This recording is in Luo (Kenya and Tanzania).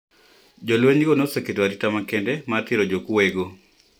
Jolweny go ne oketo arita makende mar thiro jokwoye go